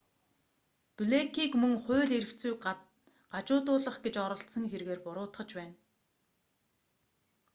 блэйкийг мөн хууль эрх зүйг гажуудуулах гэж оролдсон хэргээр буруутгаж байна